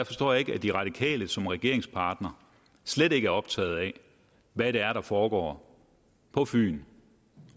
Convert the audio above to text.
forstår ikke at de radikale som regeringspartner slet ikke er optaget af hvad det er der foregår på fyn og